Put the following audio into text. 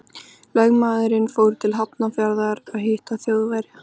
Lögmaðurinn fór til Hafnarfjarðar að hitta Þjóðverja.